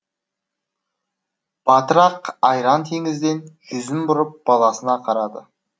батыр ақ айран теңізден жүзін бұрып баласына қарады